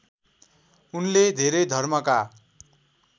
उनले धेरै धर्मका